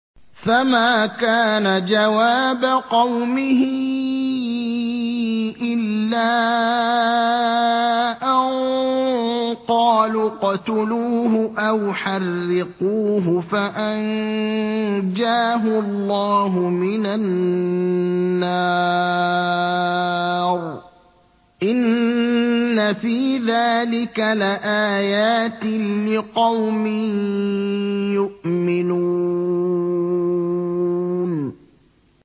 فَمَا كَانَ جَوَابَ قَوْمِهِ إِلَّا أَن قَالُوا اقْتُلُوهُ أَوْ حَرِّقُوهُ فَأَنجَاهُ اللَّهُ مِنَ النَّارِ ۚ إِنَّ فِي ذَٰلِكَ لَآيَاتٍ لِّقَوْمٍ يُؤْمِنُونَ